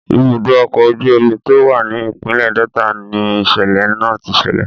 Ibùdó ọkọ̀ ojú omi tó wà ni ìpínlẹ̀ Delta ni ìṣẹ̀lẹ̀ náà ti ṣẹlẹ̀.